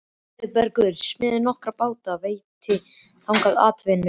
Auðbergur smíðaði nokkra báta og veitti þannig atvinnu.